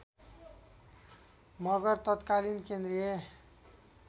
मगर तत्कालीन केन्द्रीय